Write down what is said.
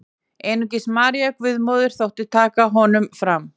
Einungis María Guðsmóðir þótti taka honum fram.